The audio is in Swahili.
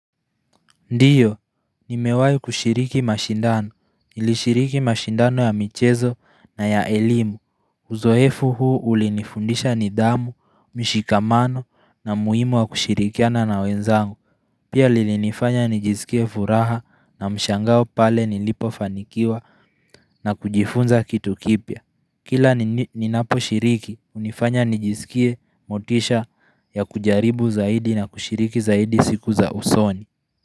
Ndiyo, nimewahi kushiriki mashindano. Nilishiriki mashindano ya michezo na ya elimu. Uzoefu huu ulinifundisha nidhamu, mishikamano na muhimu wa kushirikiana na wenzangu. Pia lilinifanya nijisikie furaha na mshangao pale nilipofanikiwa na kujifunza kitu kipya. Kila ninaposhiriki, hunifanya nijisikie motisha ya kujaribu zaidi na kushiriki zaidi siku za usoni.